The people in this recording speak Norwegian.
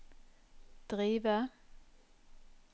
drive